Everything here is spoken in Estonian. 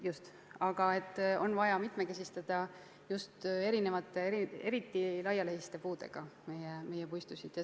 On vaja meie puistuid mitmekesistada erinevate, eriti laialehiste puudega.